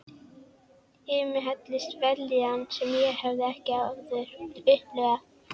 Yfir mig helltist vellíðan sem ég hafði ekki áður upplifað.